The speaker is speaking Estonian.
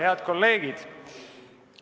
Head kolleegid!